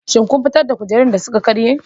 Shin kun fitar da kujerun da suka karye?